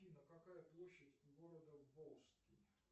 афина какая площадь города волжский